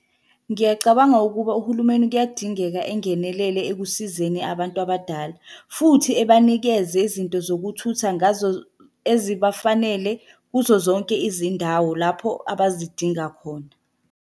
Ngiyacabanga ukuba uhulumeni kuyadingeka engenelele ekusizeni abantu abadala, futhi ebanikeza izinto zokuthutha ngazo ezibafanele kuzo zonke izindawo lapho abazidinga khona.